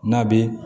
N'a bɛ